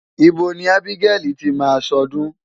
Ibo ni Ábígẹ́lì ti máa ṣọdún?